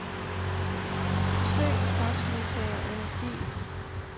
Søg faxmodtager under fil.